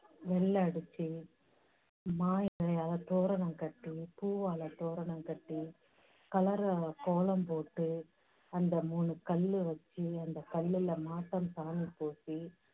நெல் அடிச்சி, மா இலையால தோரணம் கட்டி, பூவால தோரணம் கட்டி, கலரா கோலம் போட்டு, அந்த மூணு கல்லு வெச்சு, அந்தக் கல்லுல மாட்டு சாணி பூசி